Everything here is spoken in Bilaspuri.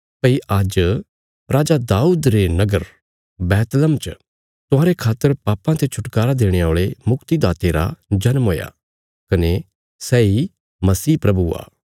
भई आज्ज राजा दाऊद रे नगर बैहतलम च तुहांरे खातर पापां ते छुटकारा देणे औल़े मुक्तीदाते रा जन्‍म हुया कने सैई मसीह प्रभु आ